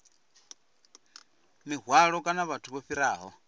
mihwalo kana vhathu vho fhiraho